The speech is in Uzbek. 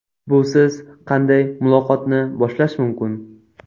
Busiz qanday muloqotni boshlash mumkin?